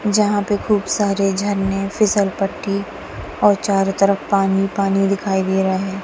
जहां पे खूब सारे झरने फिसल पट्टी और चारों तरफ पानी पानी दिखाई दे रहा है।